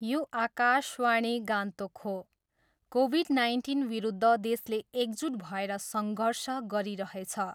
यो आकाशवाणी गान्तोक हो, कोभिड नाइन्टिनविरुद्ध देशले एकजुट भएर सङ्घर्ष गरिरहेछ।